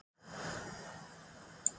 Yngvi, spilaðu lagið „Íslenskir karlmenn“.